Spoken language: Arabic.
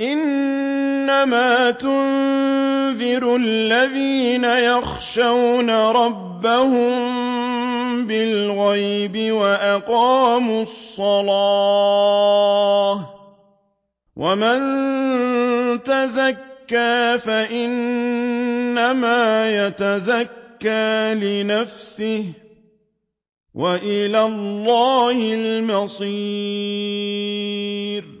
إِنَّمَا تُنذِرُ الَّذِينَ يَخْشَوْنَ رَبَّهُم بِالْغَيْبِ وَأَقَامُوا الصَّلَاةَ ۚ وَمَن تَزَكَّىٰ فَإِنَّمَا يَتَزَكَّىٰ لِنَفْسِهِ ۚ وَإِلَى اللَّهِ الْمَصِيرُ